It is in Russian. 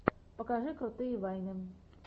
покажи крутые вайны